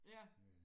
ja